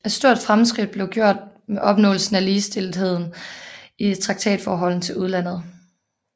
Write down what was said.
Et stort fremskridt var blevet gjort med opnåelsen af ligestillethed i traktatforholdet til udlandet